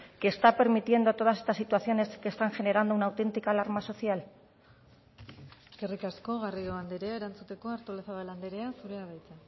que está permitiendo todas estas situaciones que están generando una autentica alarma social eskerrik asko garrido andrea erantzuteko artolazabal andrea zurea da hitza